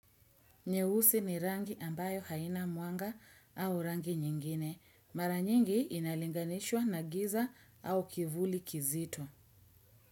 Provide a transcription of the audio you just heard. Nyeusi ni rangi ambayo haina mwanga au rangi nyingine. Mara nyingi inalinganishwa na giza au kivuli kizito.